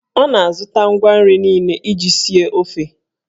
Ọ na-azụta ngwa nri niile iji sie ofe.